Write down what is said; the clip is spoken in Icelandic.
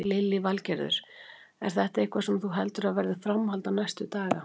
Lillý Valgerður: Er þetta eitthvað sem þú heldur að verði framhald á næstu daga?